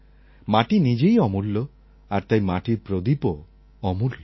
মাটি নিজেই অমূল্য আর তাই মাটির প্রদীপও অমূল্য